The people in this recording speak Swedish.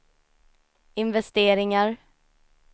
investeringar